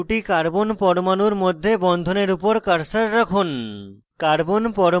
ethane ethane অণুতে দুটি carbon পরমাণুর মধ্যে বন্ধনের উপর cursor রাখুন